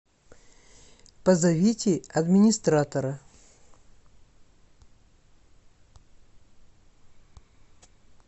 позовите администратора